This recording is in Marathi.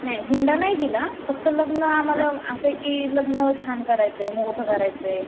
नाही हुंडा नाही दिला फक्त लग्न आम्हाला असय कि लग्न छान करायचंय, मोठं करायचंय.